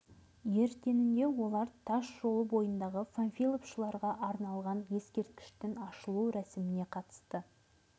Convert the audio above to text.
ертеңінде олар тас жолының бойында панфиловшыларға арналған ескерткіштің ашылу рәсіміне қатысты